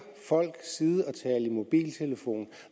folk side og tale i mobiltelefon og